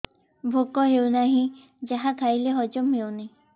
ଭୋକ ହେଉନାହିଁ ଯାହା ଖାଇଲେ ହଜମ ହଉନି